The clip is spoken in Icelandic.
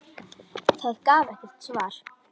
Það gaf ekkert svar.